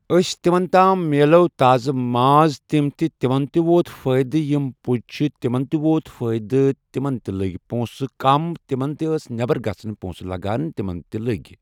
ٲسۍ تمن تام مِلیو تازٕ ماز تم تہِ تمن تہِ ووت فٲیِدٕ یم پُج چھِ تمن تہِ ووت فٲیِدٕ تمن تہِ لٔگۍ پونٛسہٕ کم تمن ٲسۍ نٮ۪بر گژھنس پونٛسہٕ لگان تمن تہِ لٔگۍ